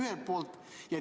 Seda esiteks.